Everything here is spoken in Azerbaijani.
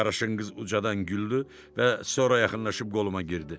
Qaraşınqız ucadan güldü və sonra yaxınlaşıb qoluma girdi.